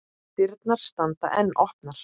Dyrnar standa enn opnar.